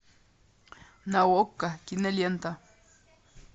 на окко кинолента